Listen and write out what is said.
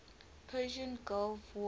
persian gulf war